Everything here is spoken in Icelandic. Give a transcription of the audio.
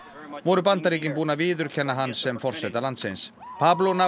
voru Bandaríkin búin að viðurkenna hann sem forseta landsins